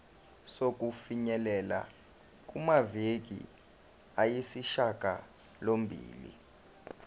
sokufinyelela kumaviki ayisishagalombili